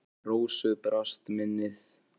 En Rósu brast minnið.